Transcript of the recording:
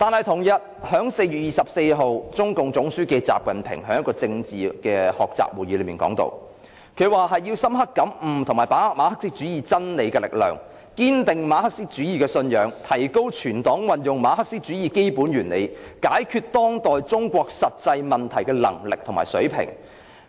同日，中共總書記習近平在一個政治學習會議上表示，要"深刻感悟和把握馬克思主義真理力量，堅定馬克思主義信仰......提高全黨運用馬克思主義基本原理解決當代中國實際問題的能力和水平。